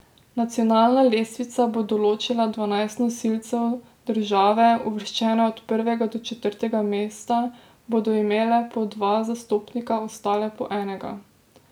Nacionalna lestvica bo določila dvanajst nosilcev, države, uvrščene od prvega do četrtega mesta, bodo imele po dva zastopnika, ostale po enega.